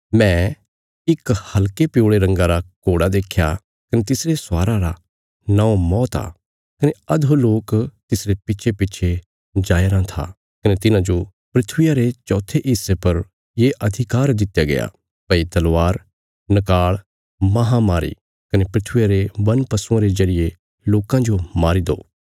मैं इक हल्के पिऊल़े रंगा रा घोड़ा देख्या कने तिसरे स्वारा रा नौं मौत आ कने अधोलोक तिसरे पिच्छेपिच्छे जाया राँ था कने तिन्हांजो धरतिया रे चौथे हिस्से पर ये अधिकार दित्या गया भई तलवार नकाल़ महामारी कने धरतिया रे वन पशुआं रे जरिये लोकां जो मारी दो